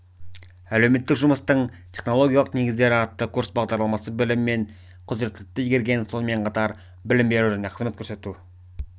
әлеуметтік жұмыстың технологиялық негіздері атты курс бағдарламасы білім мен құзіреттіліктерді игерген сонымен қатар білім беру және қызмет көрсету